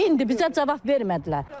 İndi bizə cavab vermədilər.